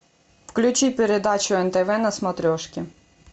включи передачу нтв на смотрешке